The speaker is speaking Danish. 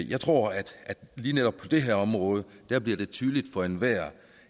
jeg tror at lige netop på det her område bliver det tydeligt for enhver